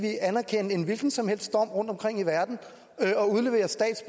anerkende en hvilken som helst dom rundtomkring i verden